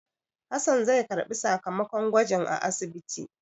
Hassan zai karɓi sakamakon gwajin a asibiti.